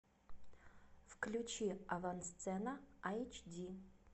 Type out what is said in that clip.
включи авансцена айч ди